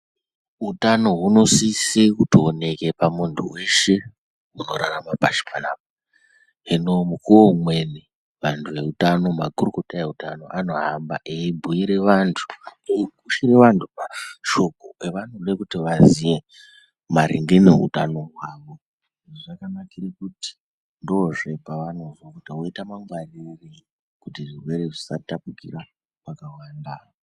Utano hunosisa kutooneka pamunthu weshe unorarama pashi panapa. Hino, mukuwo umweni vanthu veutano, makurukota eutano anohamba eibhiira vanthu, eipire vanthu mashoko avanode kuti vaziye maringe neutano hwavo. Izvi zvakanakire kuti ndozve pavanobhiirwa kuti munthu woite mangwarirei kuti zvirwere zvisatapukira kwakawanda.